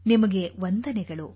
ನಿಮಗೆ ವಂದನೆಗಳು